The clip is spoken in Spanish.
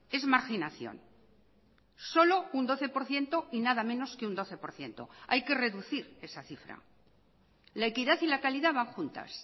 es marginación solo un doce por ciento y nada menos que un doce por ciento hay que reducir esa cifra la equidad y la calidad van juntas